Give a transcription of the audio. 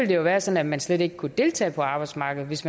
det være sådan at man slet ikke vil kunne deltage på arbejdsmarkedet hvis